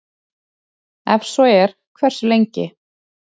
Ef svo er, hversu lengi?